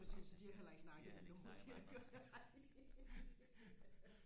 præcis så de har heller ikke snakket med nogen de har